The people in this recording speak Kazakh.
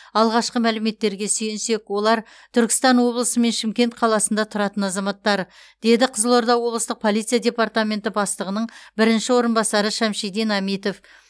алғашқы мәліметтерге сүйенсек олар түркістан облысы мен шымкент қаласында тұратын азаматтар деді қызылорда облыстық полиция департаменті бастығының бірінші орынбасары шамшидин әмитов